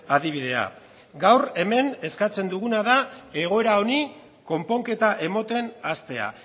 adibidea gaur hemen eskatzen duguna da egoera honi konponketa ematen hastea